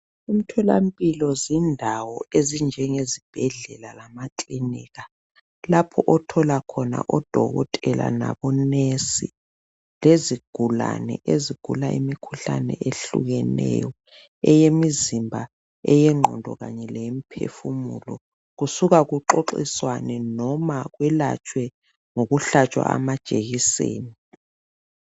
Umtholampilo izindawo ezinjenge zibhedlela lamakilinika lapho othola khona odokotela labo nurse lezigulane ezigula imikhuhlane eyehlukeneyo eyimizimba, eyegqondo kanye leyemphefumulo. Kusuka kuxoxiswanwe noma kwelatshwe ngokuhlatshwa amajekiseni